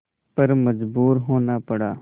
पर मजबूर होना पड़ा